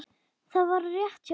Það var rétt hjá Rósu.